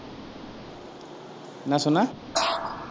என்ன சொன்ன?